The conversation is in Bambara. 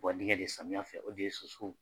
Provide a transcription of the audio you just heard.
Wa de samiya fɛ ,o de ye soso.